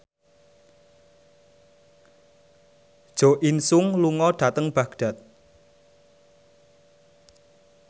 Jo In Sung lunga dhateng Baghdad